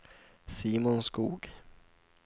Simon Skoog